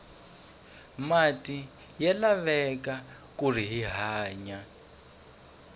mati ya laveka kuri hi hanya